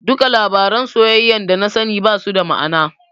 Duka labaran soyayyar dana sani basu da ma'ana.